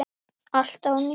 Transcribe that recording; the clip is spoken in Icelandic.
Allt ónýtt!